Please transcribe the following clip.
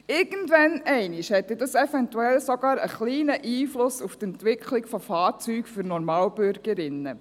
Irgendwann einmal hat das dann eventuell sogar einen kleinen Einfluss auf die Entwicklung von Fahrzeugen für Normalbürgerinnen.